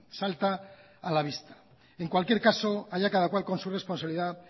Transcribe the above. salta a la vista en cualquier caso allá cada cual con su responsabilidad